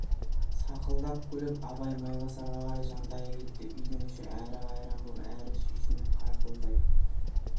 сақылдап күліп абай майбасарға қарай жантая кетті үйдің іші әрі қайран боп әрі сүйсініп қарқылдай